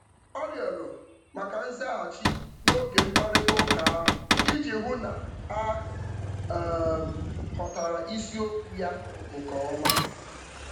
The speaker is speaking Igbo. O rịọrọ maka nzaghachi n'oge mkparịtaụka ahụ iji hụ na a um ghọtara isiokwu ya nke ọma.